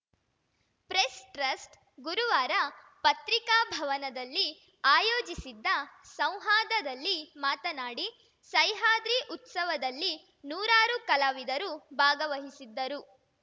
press trust ಗುರುವಾರ ಪತ್ರಿಕಾಭವನದಲ್ಲಿ ಆಯೋಜಿಸಿದ್ದ ಸಂವಾದದಲ್ಲಿ ಮಾತನಾಡಿ ಸಹ್ಯಾದ್ರಿ ಉತ್ಸವದಲ್ಲಿ ನೂರಾರು ಕಲಾವಿದರು ಭಾಗವಹಿಸಿದ್ದರು